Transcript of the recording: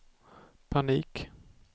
panik